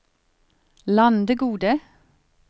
Landegode